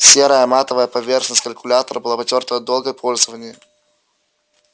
серая матовая поверхность калькулятора была потёртой от долгого пользования